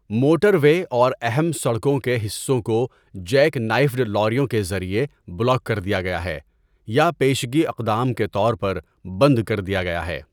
Motor وے اور اہم سڑکوں کے حصوں کو جیک نائفڈ لاریوں کے ذریعے بلاک کر دیا گیا ہے یا پیشگی اقدام کے طور پر بند کر دیا گیا ہے۔